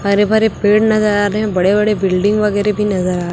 हरे-भरे पेड़ नज़र आ रहे हैं। बड़े-बड़े बिल्डिंग वगैरह भी नज़र आ --